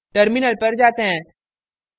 terminal पर जाते हैं